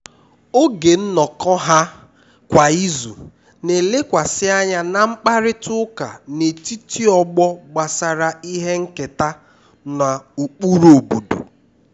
oge nnọkọ ha kwa izu na-elekwasị anya na mkparịta ụka n'etiti ọgbọ gbasara ihe nketa na ụkpụrụ obodo